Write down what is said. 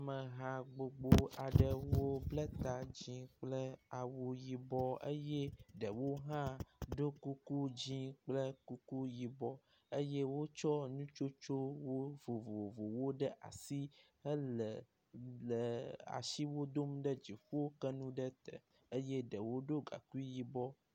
Ameha gbogbo aɖewo bla ta dzɛ̃ kple awu yibɔ eye ɖewo hã ɖo kuku dzɛ̃ kple kuku yibɔ eye wotsɔ nu tsotsowo vovovowo ɖe asi hele lee.. asiwo dom ɖe dziƒo ke nu ɖe te eye ɖewo ɖɔ gaŋkui yibɔ.